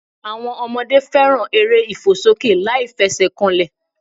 Àwọn Ọmọdé fẹ́ràn eré ìfòsókè láìfesèkanlè